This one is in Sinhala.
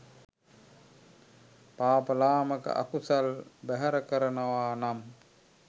පාප ලාමක අකුසල් බැහැර කරනවා නම්